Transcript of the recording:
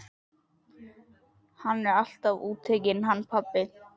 Hann er alltaf útitekinn hann pabbi.